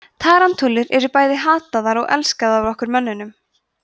tarantúlur eru bæði hataðar og elskaðar af okkur mönnunum